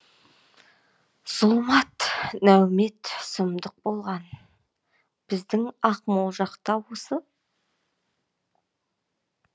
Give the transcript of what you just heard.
зұлмат нәубет сұмдық болған біздің ақмол жақта осы